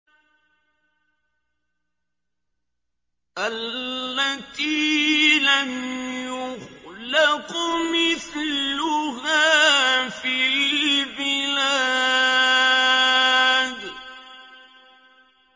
الَّتِي لَمْ يُخْلَقْ مِثْلُهَا فِي الْبِلَادِ